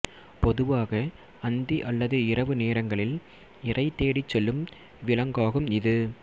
பொதுவாக அந்தி அல்லது இரவு நேரங்களில் இரை தேடி செல்லும் விலங்காகும் இது